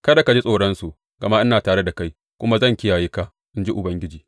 Kada ka ji tsoronsu, gama ina tare da kai kuma zan kiyaye ka, in ji Ubangiji.